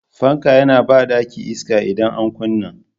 Fanka yana ba ɗaki iska idan an kunna.